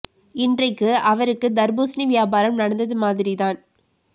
இன்றைக்கு அவருக்கு தர்பூசணி வியாபாரம் நடந்தது மாதிரி தான்